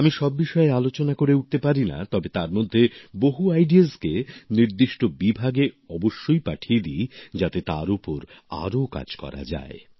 আমি সব বিষয়ে আলোচনা করে উঠতে পারি না তবে তারমধ্যে বহু ভাবনাকে নির্দিষ্ট বিভাগে অবশ্যই পাঠিয়ে দি যাতে তার ওপর আরও কাজ করা যায়